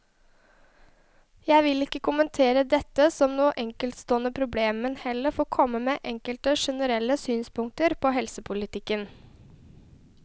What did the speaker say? Jeg vil ikke kommentere dette som noe enkeltstående problem, men heller få komme med enkelte generelle synspunkter på helsepolitikken.